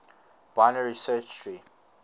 binary search tree